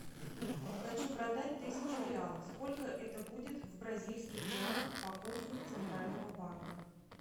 хочу продать тысячу реалов сколько это будет в бразильских реалах по курсу центрального банка